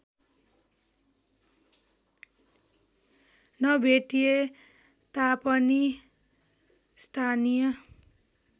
नभेटिए तापनि स्थानीय